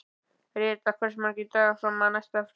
Rita, hversu margir dagar fram að næsta fríi?